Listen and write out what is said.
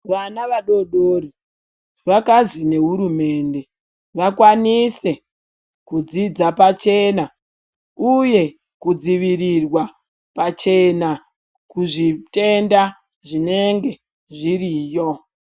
Vana vadodori, vakazi nehurumende, vakwanise kudzidza pachena, uye kudzivirirwa pachena kuzvitenda zvinenge zviriyo.